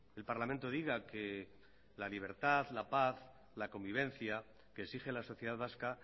el parlamento diga que la libertad la paz la convivencia que exige la sociedad vasca